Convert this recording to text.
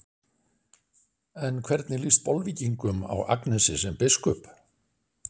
En hvernig líst Bolvíkingum á Agnesi sem biskup?